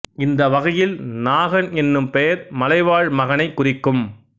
இந்த வகையில் நாகன் என்னும் பெயர் மலைவாழ் மகனைக் குறிக்கும்